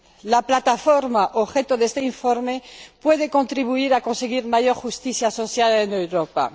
La Plataforma objeto de este informe puede contribuir a conseguir mayor justicia social en Europa.